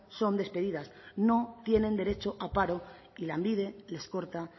son despedidas no tienen derecho a paro y lanbide les corta